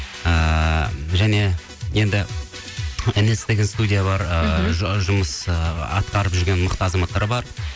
ыыы және енді нс деген студия бар ыыы жұмыс ыыы атқарып жүрген мықты азаматтар бар